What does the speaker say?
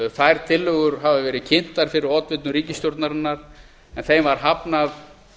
þær tillögur hafa verið kynntar fyrir oddvitum ríkisstjórnarinnar en þeim var hafnað